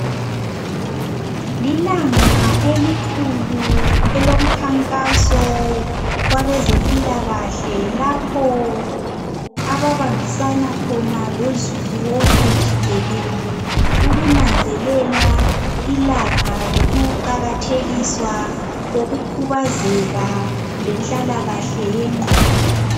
Lilanga elikhulu elomkhankaso wabezempila kahle lapho ababambisana khona lozulu wonke jikelele ukunanzelela ilanga lokuqakathekiswa kokukhubazeka lenhlala kahle yengqondo